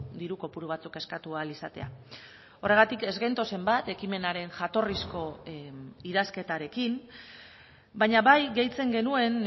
diru kopuru batzuk eskatu ahal izatea horregatik ez gentozen bat ekimenaren jatorrizko idazketarekin baina bai gehitzen genuen